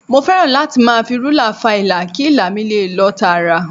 Mo fẹ́ràn láti máa fi rúlà fa ilà kí ilà mi lè lọ tààrà